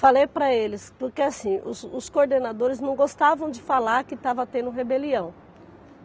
Falei para eles, porque assim, os coordenadores não gostavam de falar que estava tendo rebelião.